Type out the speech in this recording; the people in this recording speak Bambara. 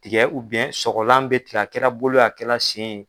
Tigɛ sɔgɔlan bɛ tikɛ a kɛ la bolo ye a kɛ la sen ye.